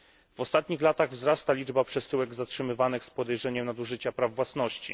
W ostatnich latach wzrasta liczba przesyłek zatrzymywanych z podejrzeniem nadużycia praw własności.